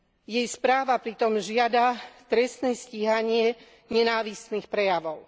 Jej správa pritom žiada trestné stíhanie nenávistných prejavov.